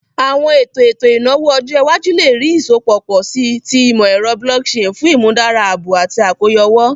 Awọn eto eto inawo ọjọ iwaju le rii isọpọ pọ si ti imọ-ẹrọ blockchain fun imudara aabo ati akoyawo.